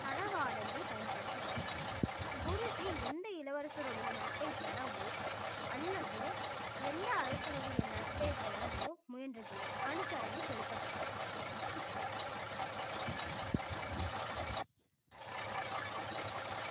தளவாடங்கள் பயன்படுத்தப்பட்டன குருஜி எந்த இளவரசருடைய நட்பை பெறவோ அல்லது எந்த அரசருடைய நட்பை பெறவோ முயன்றதில்லை அனுசரணை செலுத்தப்பட்டது